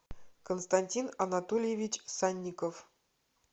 константин анатольевич санников